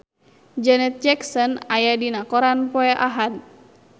Janet Jackson aya dina koran poe Ahad